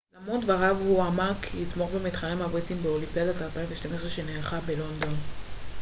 למרות דבריו הוא אמר כי יתמוך במתחרים הבריטים באולימפיאדת 2012 שנערכת בלונדון